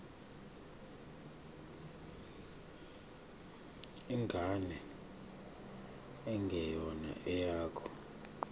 ingane engeyona eyakho